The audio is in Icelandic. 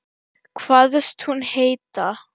Kvaðst hún heita